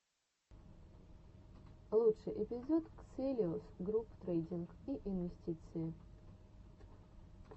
лучший эпизод ксэлиус груп трейдинг и инвестиции